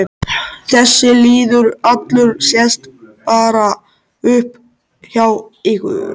Þessi lýður allur sest bara upp hjá ykkur.